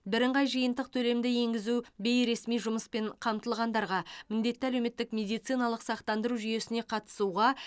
бірыңғай жиынтық төлемді енгізу бейресми жұмыспен қамтылғандарға міндетті әлеуметтік медициналық сақтандыру жүйесіне қатысуға